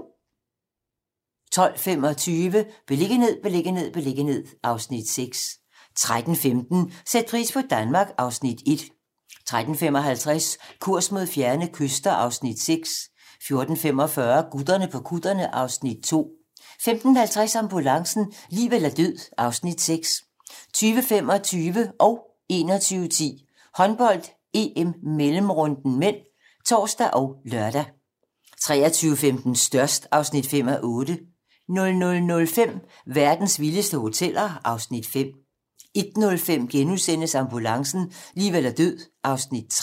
12:25: Beliggenhed, beliggenhed, beliggenhed (Afs. 6) 13:15: Sæt pris på Danmark (Afs. 1) 13:55: Kurs mod fjerne kyster (Afs. 6) 14:45: Gutterne på kutterne (Afs. 2) 15:50: Ambulancen - liv eller død (Afs. 6) 20:25: Håndbold: EM - mellemrunden (m) (tor og lør) 21:10: Håndbold: EM - mellemrunden (m) (tor og lør) 23:15: Størst (5:8) 00:05: Verdens vildeste hoteller (Afs. 5) 01:05: Ambulancen - liv eller død (Afs. 3)*